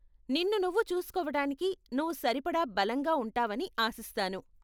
నిన్ను నువ్వు చూసుకోవటానికి నువ్వు సరిపడా బలంగా ఉంటావని ఆశిస్తాను.